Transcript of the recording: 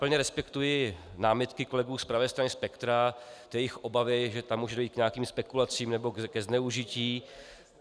Plně respektuji námitky kolegů z pravé strany spektra, jejich obavy, že tam může dojít k nějakým spekulacím nebo ke zneužití.